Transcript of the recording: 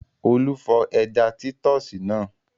Olú fọ ẹja títọ́sì náà.